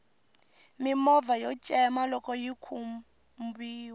mimovha yo cema loxo yi khumbiwa